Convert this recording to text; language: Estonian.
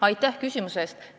Aitäh küsimuse eest!